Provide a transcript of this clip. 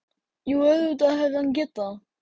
Jú, auðvitað hefði hann getað það.